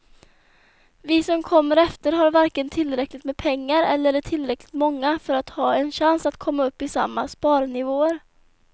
Vi som kommer efter har varken tillräckligt med pengar eller är tillräckligt många för att ha en chans att komma upp i samma sparnivåer.